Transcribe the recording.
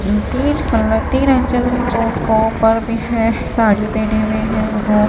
पर भी है साड़ी पहने हुए हैं वो--